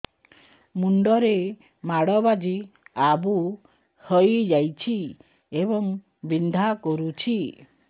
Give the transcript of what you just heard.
ମୁଣ୍ଡ ରେ ମାଡ ବାଜି ଆବୁ ହଇଯାଇଛି ଏବଂ ବିନ୍ଧା କରୁଛି